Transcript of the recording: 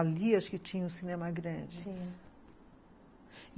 Ali, acho que tinha o Cinema Grande.